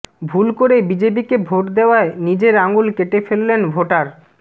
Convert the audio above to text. ভুল করে বিজেপিকে ভোট দেওয়ায় নিজের আঙুল কেটে ফেললেন ভোটার